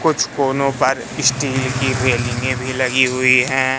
कुछ कोनों पर स्टील की रेलिंगे भी लगी हुई है।